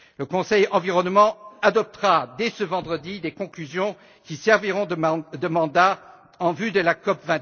Le Conseil Environnement adoptera dès ce vendredi des conclusions qui serviront de mandat en vue de la COP